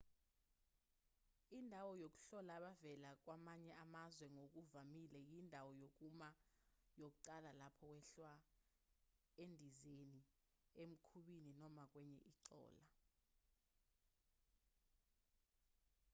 indawo yokuhlola abavela kwamanye amazwe ngokuvamile iyindawo yokuma yokuqala lapho wehla endizeni emkhumbini noma kwenye inqola